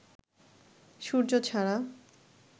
সূর্য ছাড়া